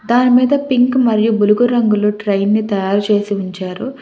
దాని మీద పింక్ మరియు బులుగు రంగులు ట్రైన్ ని తయారు చేసి ఉంచారు.